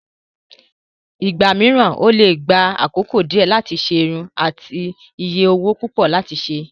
Nígbà mìíràn, ó lè gba àkókò díẹ̀ láti ṣe irun àti iye owó púpọ̀ láti ṣe.